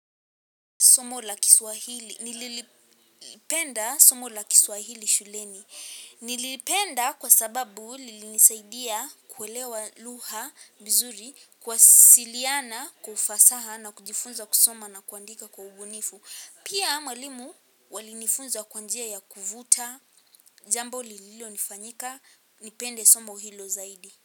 Somo la kiswahili nililipenda somo la kiswahili shuleni nilipenda kwa sababu nilisaidia kuwelewa lugha vizuri kuwasiliana kwa ufasaha na kujifunza kusoma na kuandika kwa ubunifu pia mwalimu walinifunza kwa njia ya kuvuta jambo lililo nifanyika nipende somo hilo zaidi.